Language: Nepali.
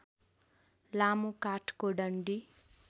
लामो काठको डन्डी